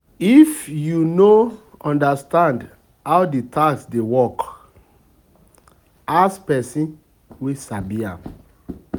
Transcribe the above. If you no understand how di tax dey work, ask person wey sabi am